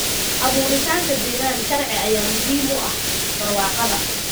Abuuritaanka deegaan sharci ayaa muhiim u ah barwaaqada.